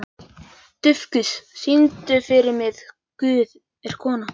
Dufgus, syngdu fyrir mig „Guð er kona“.